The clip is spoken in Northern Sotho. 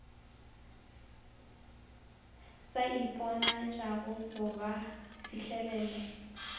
sa iponatšago ga ba fihlelele